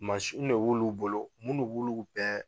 Mansiw ne b'olu bolo minno b'olugu bɛɛ